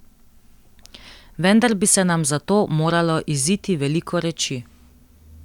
Vendar bi se nam za to moralo iziti veliko reči.